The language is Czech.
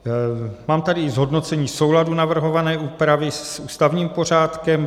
Mám tady zhodnocení souladu navrhované úpravy s ústavním pořádkem.